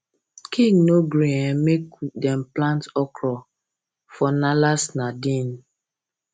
king no gree um make dem plant okra for nalace narden